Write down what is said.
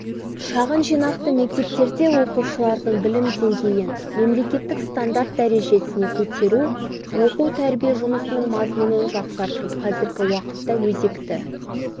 шағын жинақты мектептерде оқушылардың білім деңгейін мемлекеттік стандарт дәрежесіне көтеру оқу-тәрбие жұмысының мазмұнын жақсарту қазіргі уақытта өзекті